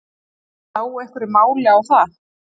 Er hægt að slá einhverju máli á það?